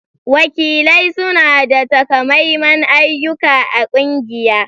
Wakilai suna da takamaiman ayyuka a ƙungiya